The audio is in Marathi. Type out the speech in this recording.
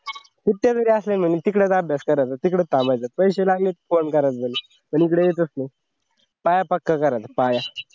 कुठच्या तरी assignment मी तिकडेच अभ्यास करायचं तिकड थांबायचं पैसे लागले की फोन करायचं घरी पण इकडे यायचंच नाही. पाया पक्का करायचा पाया